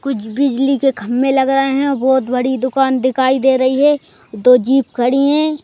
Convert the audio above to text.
कुछ बिजली केखंबे लगाए है बहुत बड़ी दुकान दिखाई दे रही है दो जीप खड़े हैं।